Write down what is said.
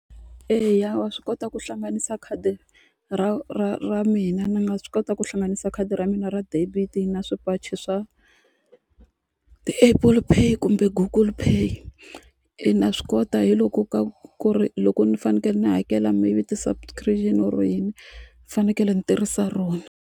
Eya wa swi kota ku hlanganisa khadi ra ra ra mina ni nga swi kota ku hlanganisa khadi ra mina ra debit na swipachi swa ti-able play kumbe google pay e na swi kota hi loko ku ri loko ni fanekele ni hakela mi or yini ni fanekele ni tirhisa rona.